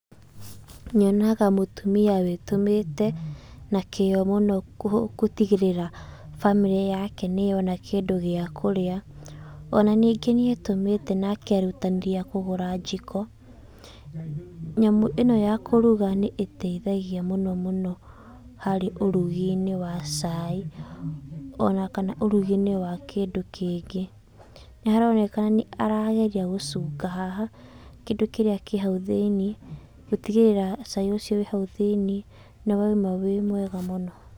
Nyonaga mũtumia wĩtũmĩte na kĩyo mũno gũtigĩrĩra bamĩrĩ yake nĩyona kĩndũ gĩa kũrĩa. O na ningĩ nĩetũmĩte na kerutanĩria kũgũra njiko. Nyamũ ĩ no ya kũruga nĩĩteithagia mũno mũno harĩ ũrugi-inĩ wa cai o na kana ũrugi-inĩ wa kĩndũ kĩngĩ. Nĩharoneka nĩarageria gũcunga haha kĩndũ kĩrĩa kĩ hau thĩiniĩ gũtigĩrĩra cai ũcio wĩ hau thĩiniĩ nĩ wauma wĩ mwega mũno.